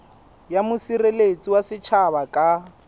ya mosireletsi wa setjhaba ka